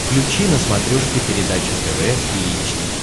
включи на смотрешке передачу тв три эйч ди